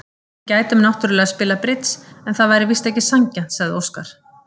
Við gætum náttúrlega spilað bridds en það væri víst ekki sanngjarnt, sagði Óskar.